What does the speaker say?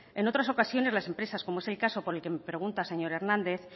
en otras ocasiones las empresas como es el caso por el que me pregunta señor hernández